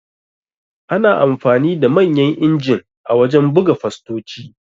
Ana amfani da Manyan injin a wajan buga fastoci